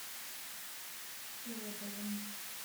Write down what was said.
солодовым